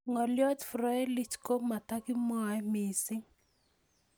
Ng'olyot Froelich ko matakimwae mising'